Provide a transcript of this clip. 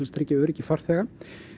að tryggja öryggi farþega